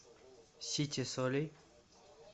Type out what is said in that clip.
сите солей